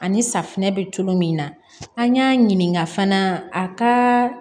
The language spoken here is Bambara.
Ani safinɛ bɛ cogo min na an y'a ɲininka fana a ka